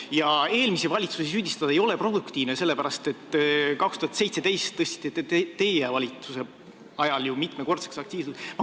Ja eelmisi valitsusi süüdistada ei ole produktiivne, sellepärast et aastal 2017 tõstis ju teie valitsus aktsiisid mitmekordseks.